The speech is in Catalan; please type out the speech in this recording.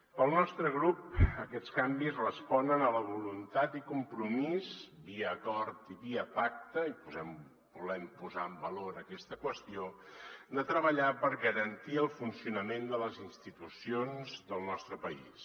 pel nostre grup aquests canvis responen a la voluntat i compromís via acord i via pacte i volem posar en valor aquesta qüestió de treballar per garantir el funcionament de les institucions del nostre país